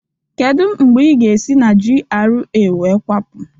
Kedu mgbe ị ga-esi na GRA wee kwapụ?